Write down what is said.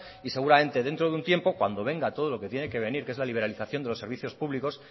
y seguramente dentro de un tiempo cuando venga todo lo que tiene que venir que es la liberalización de los servicios públicos